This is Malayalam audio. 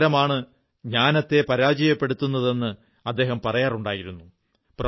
അഹങ്കാരമാണ് ജ്ഞാനത്തെ പരാജയപ്പെടുത്തുന്നതെന്ന് അദ്ദേഹം പറയാറുണ്ടായിരുന്നു